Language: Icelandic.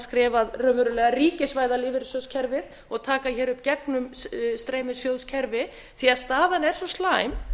skref að raunverulega ríkisvæða lífeyrissjóðakerfi og taka hér upp gegnumstreymissjóðskerfi því að staðan er svo slæm